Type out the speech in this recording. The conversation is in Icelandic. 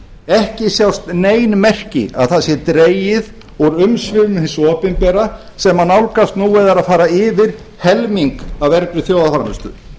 ekki sjást nein merki um að það sé dregið úr umsvifum hins opinbera sem nálgast nú eða er að fara yfir helming af vergri þjóðarframleiðslu